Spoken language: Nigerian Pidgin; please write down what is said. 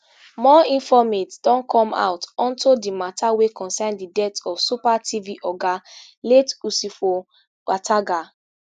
more informate don come out unto di matter wey concern di death of super tv oga late usifo ataga